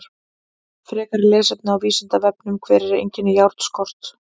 Frekara lesefni á Vísindavefnum: Hver eru einkenni járnskorts?